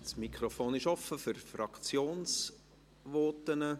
Das Mikrofon ist offen für Fraktionsvoten.